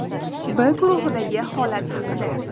B guruhidagi holat haqida.